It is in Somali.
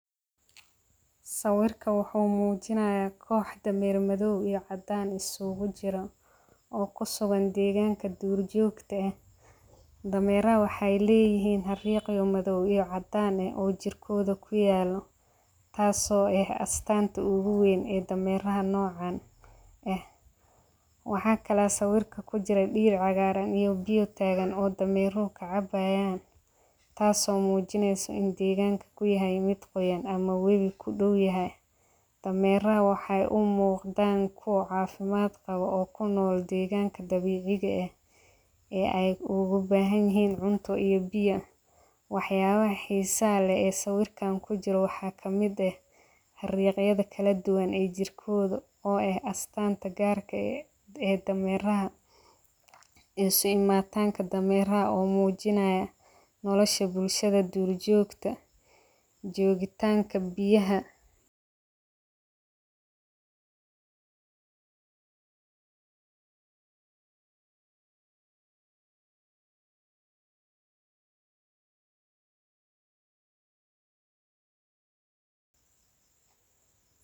Sawirka waxuu muujinaya koox damaan madow iyo cadaan isugu jira oo ku sugan deegaanka duurjoogta ah. Damaaraha waxaa leeyihiin har yaqeen madow iyo cadaan ah oo jirkooda ku yaalo, taasoo eh astaanta ugu weyn ee damaarnaa noocaan ah. Waxaa kalaa sawirka ku jira dhiir cagaaran iyo biyo taagan oo damaarka cabaayaan. Taaso muujinaysa in deegaanka ku yahay mid qoyan ama web ku dhul yahay. Damaaraha waxay umuu daan ku ah caafimaad qabo oo ku nool deegaanka dabiiciga ah ee ay ugu bahan yahiin cunto iyo biyan. Waxyaabaha xiisa leh ee sawirka ku jira waxaa kamida har yaqin kala duwan ay jirkooda oo eh astaanta gaarka ah ee damaarnaha isu imaatanka damaarnaha oo muujinaya nolosha bulshada duurjoogta joogitaanka biyaha.